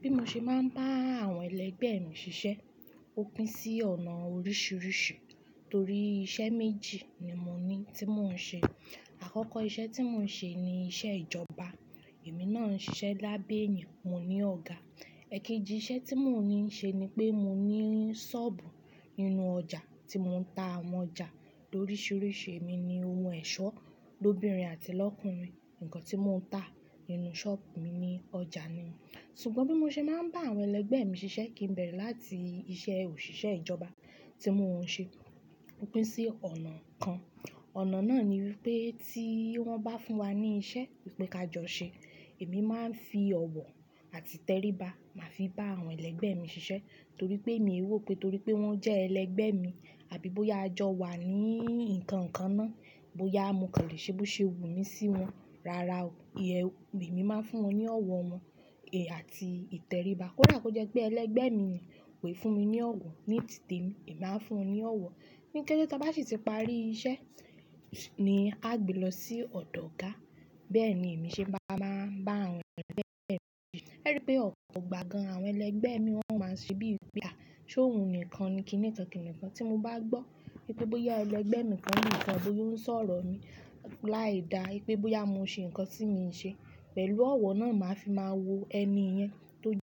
Bí mo ṣe máa ń bá àwọn ẹlẹgbẹ́ mi ṣiṣẹ́, ó pín sí ọ̀nà oríṣiríṣi torí iṣẹ́ méjì ni mo ní tí mò ń ṣe. Àkọ́kọ́ iṣẹ́ tí mò ń ṣe ni iṣẹ́ ìjọba, èmi náà ń ṣiṣẹ́ lábẹ́ ènìyàn, mo ní ọ̀gá. Ẹ̀kejì iṣẹ́ tí mò ń ṣe ni pé mo ní sọ́ọ̀bù nínú ọjà tí mò ń ta àwọn ọjà loríṣiríṣi, èmi ni ohun ẹ̀ṣọ́ lóbìnrin àti lọ́kùnrin. Ǹkan tí mò ń ta nínú sọ́ọ̀bù mi ní ọjà ni. Ṣùgbọ́n bí mo ṣe máa ń bá àwọn ẹlẹgbẹ́ mi ṣiṣẹ́ kì n bẹ̀erẹ̀ láti iṣẹ́ òṣìṣẹ́ ìjọba tí mò ń ṣe. Ó pín sí ọ̀nà kan, ọ̀nà náà ni wipé tí wọ́n bá fún wa ní iṣẹ́ wípé ká jọ ṣe, èmi máa ń fi ọ̀wọ̀ àti ìtẹríba, màá fi bá àwọn ẹlẹgbẹ́ mi ṣiṣẹ́ torí pé èmi e wò pé torí pé wọ́n jẹ́ ẹlẹgbẹ́ mi, àbí bóyá a jọ wà ní nǹkan kan náà, bóyá mo kàn lè ṣe bó ṣe wù mí sí wọn, rárá o, emi máa ń fún wọn ní ọ̀wọ̀ wọn, eh, àti ìtẹríba. Kódà tó jẹ́ pé ẹlẹgbẹ́ mi yen koi fún mi ní ọ̀wọ̀ ní tìtì temi, èmi á fún ní ọ̀wọ̀. Ní kẹ́té tí a bá sì ti parí iṣẹ́ ní a gbé lọ sí ọ̀dọ̀ ọ̀gá, bẹ́ẹ̀ ni èmi ṣe máa ń bá àwọn ẹlẹgbẹ́ mi ṣe. Ẹ ri pé ọ̀pọ̀ gbà gan-an àwọn ẹlẹgbẹ́ mi wọ́n máa ń ṣe bí ìpé à, "ṣe òun nìkan ni? A kínni kán kíni kán tí mo bá gbọ́ wípé bóyá ẹlẹgbẹ́ mi kan nìkan bóyá ó ń sọ̀rọ̀ mi láì da wípé bóyá mo ṣe ǹkan tí miò ṣe, pẹ̀lú ọ̀wọ̀ náà ni màá fi máa wo ẹni yẹn tó jẹ́ pé ó ń ṣe ń ṣe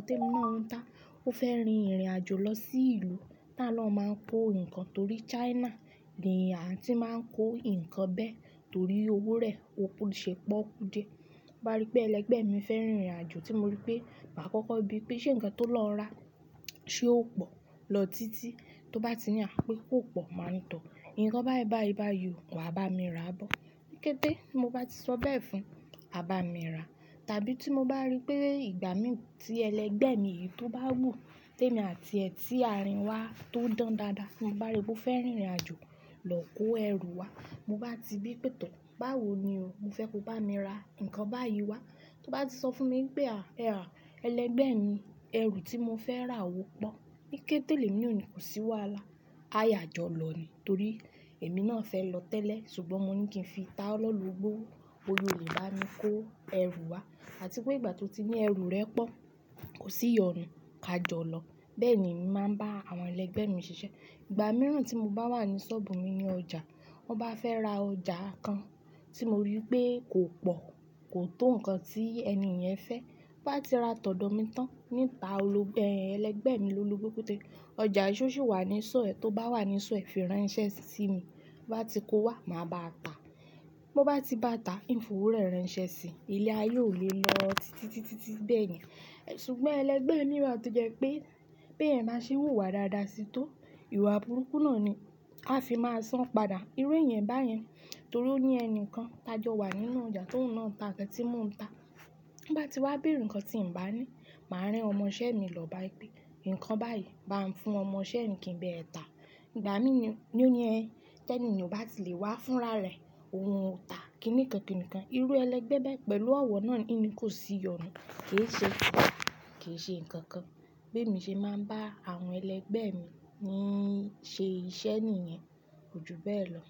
ǹkan tí ò ṣe kọ́. Ṣùgbọ́n bí ẹlẹgbẹ́ mi bá rí pé ẹ̀yin ò nílò lọ́wọ́ mi mọ́, bóyá ó jẹ́ nǹkan tí ó ń ṣe wò díẹ̀, bóyá ó jẹ́ nǹkan tí ó fẹ́ rìn ìrìnàjò lọ sí ìlú tá lọ́ máa ń kó nǹkan torí China ni àti máa ń kó nǹkan bẹ́ẹ̀ torí owó rẹ̀ ò ṣe pọ́okú díẹ̀. Mo bá rí pé ẹlẹgbẹ́ mi fẹ́ rìn ìrìnàjò tí mo rí pé màá kọ́kọ́ bí pé ṣe ǹkan tó lọ ra tí ó pọ̀ lọ títí tó bá ti ní à pé kó pọ̀ máa ni tọ̀. Ǹkan báyi báyi báyi o, wà bá mi rà bọ́. Kẹ́té ti mo bá ti sọ bẹ́ẹ̀ fún, a bá mi rà. Tàbí tí mo bá rí pé ìgbà mí tí ẹlẹgbẹ́ mi yìí tó bá wù témi àti ẹ́ tí àárín wa tó dán dáadáa, mo bá rí pé ó fẹ́ rìn ìrìnàjò lọ kó ẹrù wá, mo bá ti bí pé tọ́, báwo ni o, mo fẹ́ ko bá mi ra ǹkan báyìí wá. Tó bá ti sọ fún mi pé, "à, ẹ́ha ẹlẹgbẹ́ mi, ẹrù tí mo fẹ́ rà ó pọ̀." Níkẹ́tẹ̀ lẹ̀mi na o ni kò sí wàhalá, a yà jọ lọ ní torí èmi náà fẹ́ lọ tẹ́lẹ̀. Ṣùgbọ́n mo ní kí n fi tá ọ lọ́lobó, ó boya ò lè bá mi kó ẹrù wá àti pé ìgbà tí ó ti ní ẹrù rẹ̀ pọ̀ kò sì yọ̀nù ká jọ lọ. Bẹ́ẹ̀ni emi màá ń bá àwọn ẹlẹgbẹ́ mi ṣiṣẹ́. Ìgbà mìíràn tí mo bá wà ní sọ́ọ̀bù mi ní ọjà, wọ́n bá fẹ́ ra ọjà kan tí mo rí pé kò pọ̀, kò tó ǹkan tí ẹni yẹn fẹ́, bá ti ra tọ̀dọ̀ mi tán nta ẹlẹgbẹ́ mi lólobo pe to, ọjà ì ṣó sì wà nísọ́ọ̀ ẹ́?, tó bá wà nísọ́ọ̀ ẹ́ fi rán iṣẹ́ sí mi, to bá ti kówá màá bá a tà. Mo bá ti bá a tà, ín f'owó rẹ̀ rán'ṣẹ́ sí i, ilé aye ó lè lọ títí, títí, títí bẹ́ẹ̀yẹn. Ṣùgbọ́n ẹlẹgbẹ́ mi wá tó jẹ́ pé, pé ẹ beeyan ba ṣe n wùwá dáadáa sí tó, ìwà burúkú náà ni a fi máa san pada. Irú ẹ̀yan báyẹn torí ó ní ẹnìkan tá jọ wà nínú ọjà t'óun ná ta nkan tí mò ń ta. Ban bá ti wá béèrè ǹkan tí ǹ bá ní, màá rán ọmọṣẹ́ mi lọ bá a ipe ǹkan báyìí bá ń fún ọmọṣẹ́ mi kí n bá ẹ tà. Ìgbà mí ní ó ní ẹ́, tẹ́ni yen ò bá ti lè wá fúnrárẹ̀ oun o tà kíni ján kíni kán. Irú ẹlẹgbẹ́ bẹ́ẹ̀ pẹ̀lú ọ̀wọ̀ náà in ni kò sí yọ̀nù. Kì í ṣe, kì í ṣe ǹkan kan. Bemi ṣe máa ń bá àwọn ẹlẹgbẹ́ mi ní ṣe iṣẹ́ nìyẹn kojúbẹ́ẹ̀ lọ.